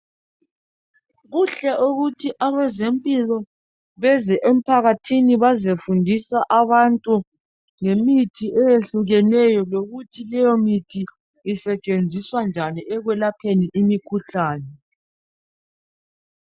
kuhle ukuthi abezempilo beze emphakathini bezefundisa abantu ngemithi eyehlukeneyo lokuthi leyo mithi isetshenziswa njani ekwelapheni imikhuhlane